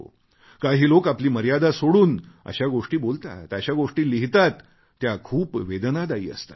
काही लोक आपली मर्यादा सोडून अशा गोष्टी बोलतात अशा गोष्टी लिहितात ज्या खूप वेदनादायी असतात